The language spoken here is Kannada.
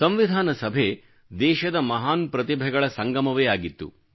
ಸಂವಿಧಾನ ಸಭೆ ದೇಶದ ಮಹಾನ್ ಪ್ರತಿಭೆಗಳ ಸಂಗಮವೇ ಆಗಿತ್ತು